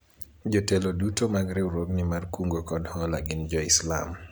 jotelo duto mag riwruogni mar kungo kod hola gin jo islam